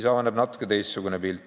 Avaneb natukene teistsugune pilt.